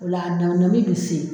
O la a na bi se.